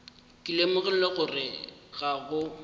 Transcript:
ke lemogile gore ga go